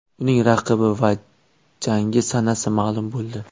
Uning raqibi va jangi sanasi ma’lum bo‘ldi.